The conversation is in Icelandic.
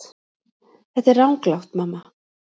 Þetta er ranglátt mamma.